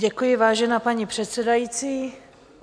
Děkuji, vážená paní předsedající.